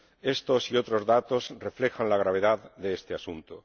Estos y otros datos reflejan la gravedad de este asunto.